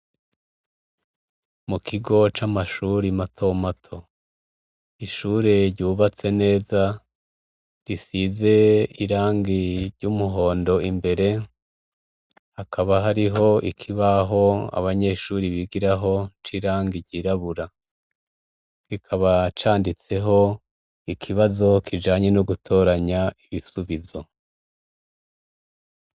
Mu kigo c'amashuri matomato ishure ryubatse neza risize irangi ry'umuhondo imbere hakaba hariho ikibaho abanyeshuri bigiraho c'iranga iryirabura rikaba candiza seho ikibazo kijanye no gutoranya ibisubizo.